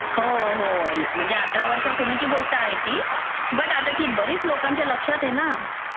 हो, हो. म्हणजे अठरा वर्षांपूर्वीची गोष्ट आहे ती, बट आता ती बरीच लोकांच्या लक्षात हे ना.